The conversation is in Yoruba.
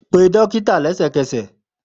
Pe dókítà lẹsẹkẹsẹ!